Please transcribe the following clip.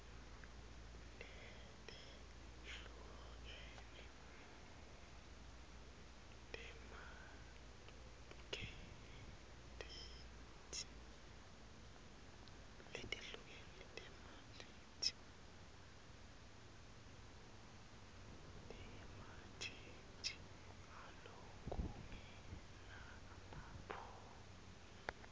letehlukene tematheksthi ngalokungenamaphutsa